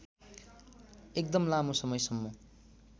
एकदम लामो समयसम्म